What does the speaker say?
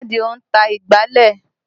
Ìyá Àdìó ń ta ìgbálẹ̀